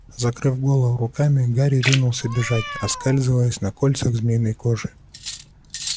закрыв голову руками гарри кинулся бежать оскальзываясь на кольцах змеиной кожи